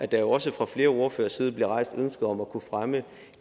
der jo også fra flere ordføreres side bliver rejst ønsket om at kunne fremme